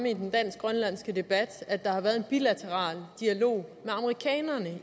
i den dansk grønlandske debat at der har været en bilateral dialog med amerikanerne